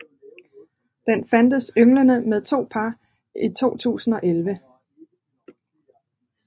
Den fandtes ynglende med to par i 2011